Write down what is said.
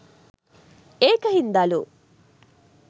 ඒක හින්දලු